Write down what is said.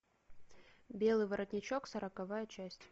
белый воротничок сороковая часть